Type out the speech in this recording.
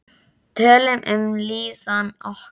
Tölum um líðan okkar.